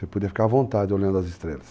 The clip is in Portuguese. Você podia ficar à vontade olhando as estrelas.